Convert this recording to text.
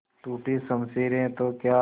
टूटी शमशीरें तो क्या